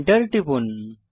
Enter টিপুন